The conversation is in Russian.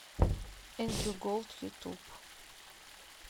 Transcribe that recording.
эндрю голд ютуб